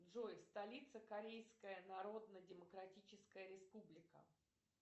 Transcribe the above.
джой столица корейская народно демократическая республика